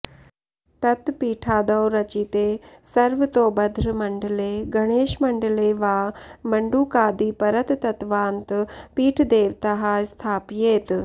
ततः पीठादौ रचिते सर्वतोभद्रमण्डले गणेशमण्डले वा मण्डूकादिपरतत्त्वान्तपीठदेवताः स्थापयेत्